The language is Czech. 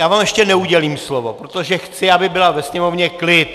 Já vám ještě neudělím slovo, protože chci, aby byl ve sněmovně klid.